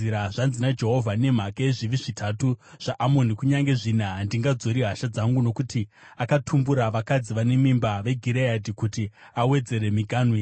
Zvanzi naJehovha: “Nemhaka yezvivi zvitatu zvaAmoni, kunyange zvina, handingadzori hasha dzangu. Nokuti akatumbura vakadzi vane mimba veGireadhi, kuti awedzere miganhu yake,